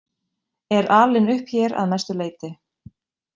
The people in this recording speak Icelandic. Er alinn upp hér að mestu leyti.